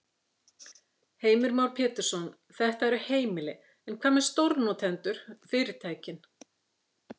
Heimir Már Pétursson: Þetta eru heimili, en hvað með stórnotendur, fyrirtækin?